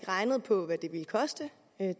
regnet på hvad det ville koste